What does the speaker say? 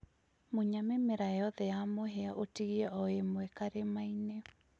Munya mĩmera yothe ya mũhia ũtigie o ïmwe karimainĩ